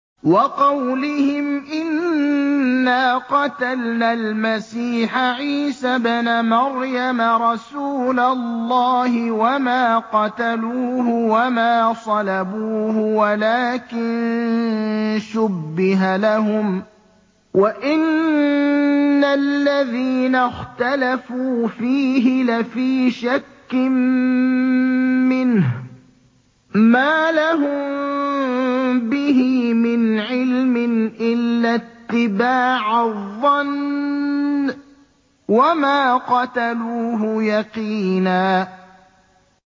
وَقَوْلِهِمْ إِنَّا قَتَلْنَا الْمَسِيحَ عِيسَى ابْنَ مَرْيَمَ رَسُولَ اللَّهِ وَمَا قَتَلُوهُ وَمَا صَلَبُوهُ وَلَٰكِن شُبِّهَ لَهُمْ ۚ وَإِنَّ الَّذِينَ اخْتَلَفُوا فِيهِ لَفِي شَكٍّ مِّنْهُ ۚ مَا لَهُم بِهِ مِنْ عِلْمٍ إِلَّا اتِّبَاعَ الظَّنِّ ۚ وَمَا قَتَلُوهُ يَقِينًا